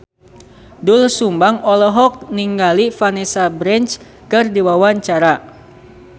Doel Sumbang olohok ningali Vanessa Branch keur diwawancara